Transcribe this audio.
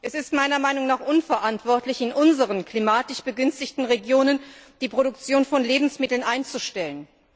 Es ist meiner Meinung nach unverantwortlich, in unseren klimatisch begünstigten Regionen die Produktion von Lebensmitteln einzustellen.